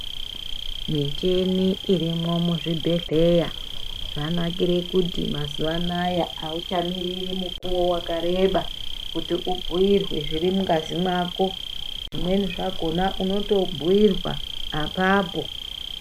Michini irimwo muzvibhedhlera zvanakira kuti mazuva anawa auchamiriri mukuwo wakareba kuti ubhuirwe zviri mungazi mako zvimweni zvakona unotobhuirwa apapo.